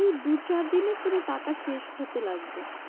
এই দু চার দিনে পুরো টাকা শেষ হতে লাগবে।